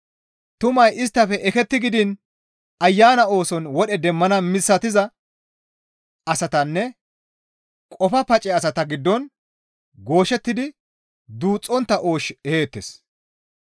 Tumay isttafe eketti gidiin Ayana ooson wodhe demmana misatiza asatanne qofa pace asata giddon gooshettidi duuxxontta oosh eheettes.